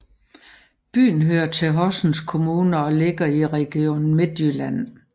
Byen hører til Horsens Kommune og ligger i Region Midtjylland